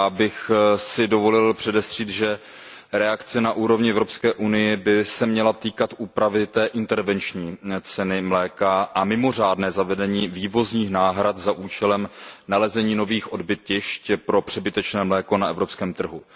Já bych si dovolil předestřít, že reakce na úrovni Evropské unie by se měla týkat úpravy intervenční ceny mléka a mimořádného zavedení vývozních náhrad za účelem nalezení novým odbytišť pro přebytečné mléko na evropském trhu.